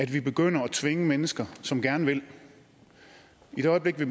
vi begynder at tvinge mennesker som gerne vil og i det øjeblik vi